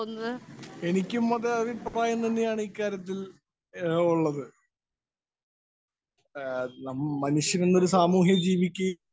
Speaker 1 എനിക്കും അതേ അഭിപ്രായം തന്നെയാണ് ഇക്കാര്യത്തില്‍ ഒള്ളത്. മനുഷ്യര്‍ എന്നൊരു സാമൂഹിക ജീവിക്ക്